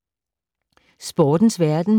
Sportens verden